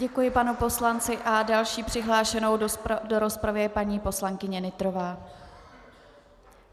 Děkuji panu poslanci a další přihlášenou do rozpravy je paní poslankyně Nytrová.